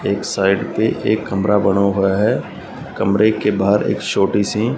एक साइड पे एक कमरा बना हुआ है कमरे के बाहर एक छोटी सी--